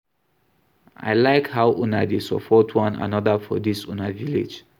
I like how una dey support one another for dis una village